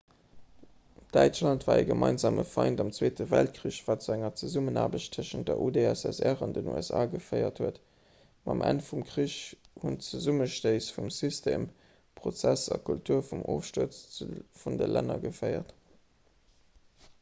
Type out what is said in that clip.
däitschland war e gemeinsame feind am zweete weltkrich wat zu enger zesummenaarbecht tëschent der udssr an den usa geféiert huet mam enn vum krich hunn d'zesummestéiss vu system prozess a kultur zum ofstuerz vun de länner geféiert